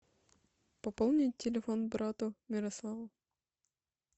пополнить телефон брату ярославу